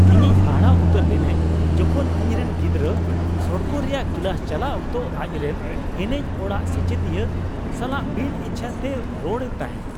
ᱤᱧ ᱦᱟᱦᱟᱲᱟᱜ ᱩᱛᱟᱹᱨ ᱞᱤᱱᱟᱹᱧ ᱡᱚᱠᱷᱚᱱ, ᱤᱧᱨᱮᱱ ᱜᱤᱫᱽᱨᱟᱹ ᱥᱚᱲᱠᱚ ᱨᱮᱭᱟᱜ ᱠᱞᱟᱥ ᱪᱟᱞᱟᱜ ᱚᱠᱛᱚ ᱟᱡ ᱨᱮᱱ ᱮᱱᱮᱡ ᱚᱲᱟᱜ ᱥᱮᱪᱮᱫᱤᱭᱟᱹ ᱥᱟᱞᱟᱜ ᱵᱤᱱ ᱤᱪᱪᱷᱟᱹ ᱛᱮᱭ ᱨᱚᱲ ᱮᱫ ᱛᱟᱦᱮᱸ ᱾